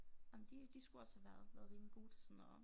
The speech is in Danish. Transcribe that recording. Ej men de de skulle også have været været rimelig gode til sådan noget